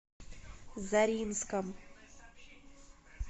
заринском